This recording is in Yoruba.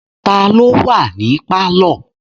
Ta ló wà ní pálọ̀?